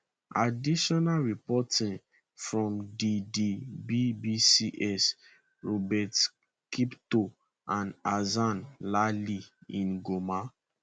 additional reporting from di di bbcs robert kiptoo and hassan lali in goma